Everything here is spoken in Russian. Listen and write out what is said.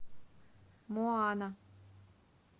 моана